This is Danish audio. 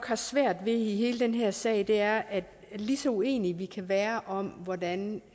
svære i i den her sag er at lige så uenige vi kan være om hvordan